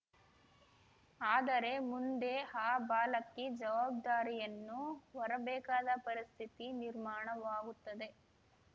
ಆದರೆ ಮುಂದೆ ಆ ಬಾಲಕಿ ಜವಾಬ್ದಾರಿಯನ್ನು ಹೋರಬೇಕಾದ ಪರಿಸ್ಥಿತಿ ನಿರ್ಮಾಣವಾಗುತ್ತದೆ